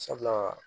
Sabula